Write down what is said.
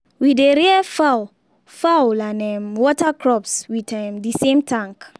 we dey rear fowl fowl and um water crops with um the same tank.